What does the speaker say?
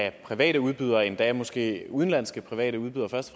af private udbydere endda måske af udenlandske private udbydere først